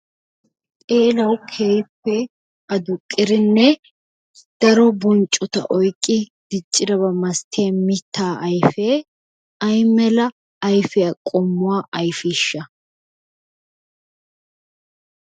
Xeelawu keehippe adduqqiddinne daro bonccotta oyqqi diccirabaa masattiya mitaa ayfee aymela ayfiya qommuwa ayfiisha?